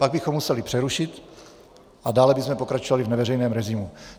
Pak bychom museli přerušit a dále bychom pokračovali v neveřejném režimu.